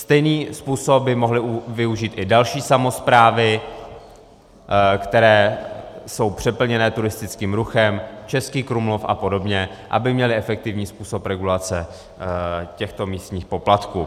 Stejný způsob by mohly využít i další samosprávy, které jsou přeplněné turistickým ruchem, Český Krumlov a podobně, aby měly efektivní způsob regulace těchto místních poplatků.